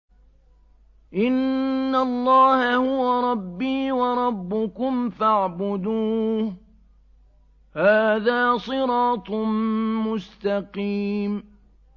إِنَّ اللَّهَ هُوَ رَبِّي وَرَبُّكُمْ فَاعْبُدُوهُ ۚ هَٰذَا صِرَاطٌ مُّسْتَقِيمٌ